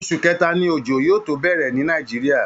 Oṣù kẹta ni òjò yóò tó bẹ̀rẹ̀ ní Nigeria